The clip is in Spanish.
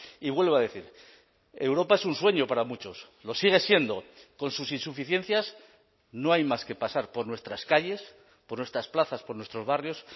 y vuelvo a decir europa es un sueño para muchos lo sigue siendo con sus insuficiencias no hay más que pasar por nuestras calles por nuestras plazas por nuestros barrios